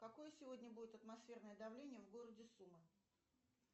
какое сегодня будет атмосферное давление в городе сумы